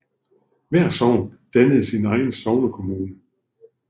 Hvert sogn dannede sin egen sognekommune